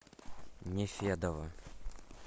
нефедова